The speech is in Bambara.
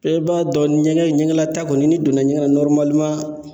Bɛɛ b'a dɔn ɲɛgɛn ɲɛgɛnla taa kɔni n'i donna ɲɛgɛn na